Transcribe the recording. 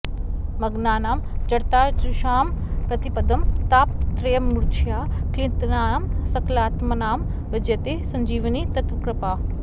मग्नानां जडताजुषां प्रतिपदं तापत्रयीमूर्च्छया क्लिन्नानां सकलात्मनां विजयते सञ्जीवनी त्वत्कृपा